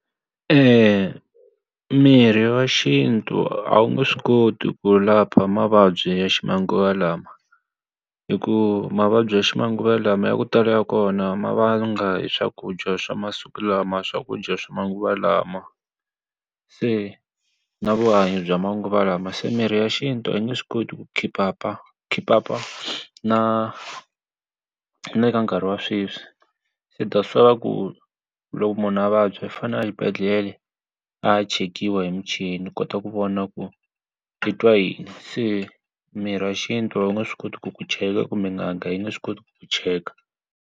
mirhi ya xintu a wu nge swi koti ku lapha mavabyi ya ximanguva lawa. Hikuva mavabyi ya ximanguva lawa ya ku tala ya kona ma vanga hi swakudya swa masiku lama swakudya swa manguva lawa. Se na vuhanyo bya manguva lawa se mirhi ya xintu a nge swi koti ku khiphapa khiphapa na na le ka nkarhi wa sweswi, se thats why va ku loko munhu a vabya i fanele a xibedhlele a ya chekiwa hi muchini wu kota ku vona ku i twa yini. Se mirhi ya xintu va nge swi koti ku ku cheka kumbe n'anga yi nge swi koti ku cheka.